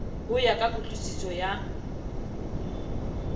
ho ya ka kutlwusiso ya